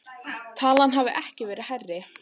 Talan hafi ekki verið hærri